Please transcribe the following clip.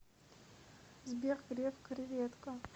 сбер греф креведко